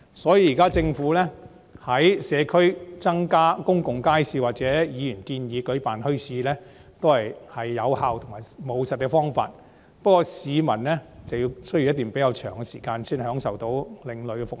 所以，政府現在於社區增建公共街市或議員建議舉辦墟市，均是有效和務實的方法，不過市民需要等候較長的時間才能享受另類的服務。